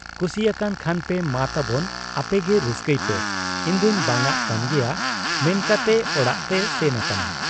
ᱠᱩᱥᱤ ᱟᱠᱟᱱ ᱠᱷᱟᱱᱯᱮ ᱢᱟ ᱛᱟᱵᱚᱱ ᱟᱯᱮᱜᱮ ᱨᱟᱹᱥᱠᱟᱹᱭ ᱯᱮ ᱤᱧᱫᱚᱧ ᱵᱟᱝᱟᱜ ᱠᱟᱱ ᱜᱮᱭᱟ ᱢᱮᱱ ᱠᱟᱛᱮ ᱚᱲᱟᱜ ᱛᱮᱭ ᱥᱮᱱ ᱟᱠᱟᱱᱟ ᱾